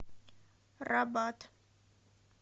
рабат